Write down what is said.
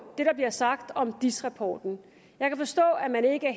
det der blev sagt om diis rapporten jeg kan forstå at man ikke er